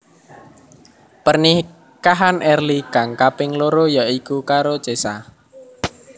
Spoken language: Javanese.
Pernikahan Early kang kaping loro ya iku karo Cesa